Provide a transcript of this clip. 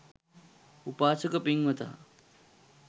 උපාසක පින්වතා